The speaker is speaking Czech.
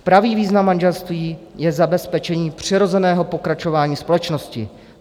Pravý význam manželství je zabezpečení přirozeného pokračování společnosti.